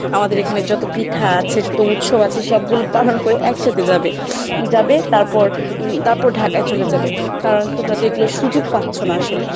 আমাদের এখানে যত পিঠা আছে যত উৎসব আছে সব গুলো পালন করে একসাথে যাবে যাবে তারপর তারপর ঢাকায় চলে যাবে কারণ তোমরা তো এগুলোর সুযোগ পাচ্ছ না আসলে